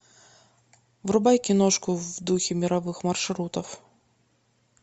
врубай киношку в духе мировых маршрутов